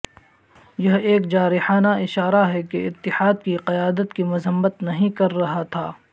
یہ ایک جارحانہ اشارہ ہے کہ اتحاد کی قیادت کی مذمت نہیں کر رہا تھا